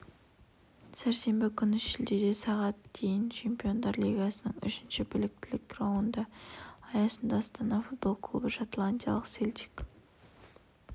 сәрсенбі күні шілдеде сағат дейін чемпиондар лигасының үшінші біліктілік раунды аясында астана футбол клубы шотландиялық селтик